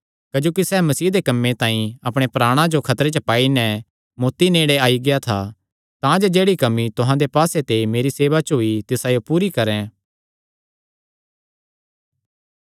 क्जोकि सैह़ मसीह दे कम्मे तांई अपणे प्राणा जो खतरे च पाई नैं मौत्ती नेड़े आई गेआ था तांजे जेह्ड़ी कमी तुहां दे पास्से ते मेरी सेवा च होई तिसायो पूरी करैं